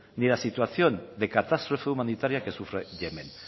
ni la situación de catástrofe humanitaria que sufre yemen